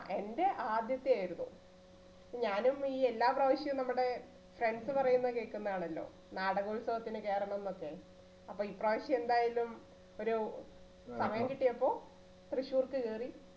എൻറെ ആദ്യത്തെ ആയിരുന്നു. ഞാനും ഈ എല്ലാ പ്രാവശ്യവും നമ്മുടെ friends പറയുന്ന കേൾക്കുന്ന ആളല്ലേ നാടക ഉത്സവത്തിന് ചേരണമെന്ന് ഒക്കെ അപ്പോ ഇപ്രാവശ്യം എന്തായാലും ഒരു സമയം കിട്ടിയപ്പോൾ തൃശ്ശൂർക്ക് കയറി.